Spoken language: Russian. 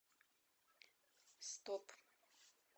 стоп